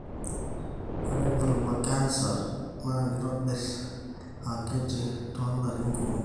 ore vulva canser na kitobir akiti tolarin kumok.